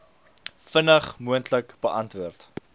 vinnig moontlik beantwoord